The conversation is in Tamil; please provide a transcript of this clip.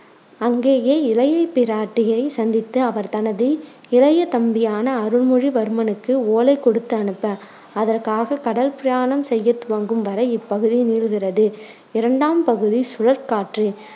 அங்கேயே இளைய பிராட்டியை சந்தித்து அவர் தனது இளைய தம்பியான அருண்மொழி வர்மனுக்கு ஓலை கொடுத்து அனுப்ப அதற்காக கடல் பிரயாணம் செய்ய துவங்கும் வரை இப்பகுதி நீள்கிறது இரண்டாம் படுதி சுழல்காற்று